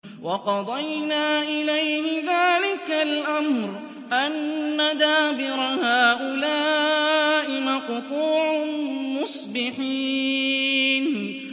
وَقَضَيْنَا إِلَيْهِ ذَٰلِكَ الْأَمْرَ أَنَّ دَابِرَ هَٰؤُلَاءِ مَقْطُوعٌ مُّصْبِحِينَ